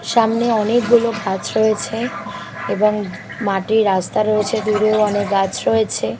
সামনে অনেকগুলো গাছ রয়েছে এবং মাটি রাস্তা রয়েছে দূরেও অনেক গাছ রয়েছে।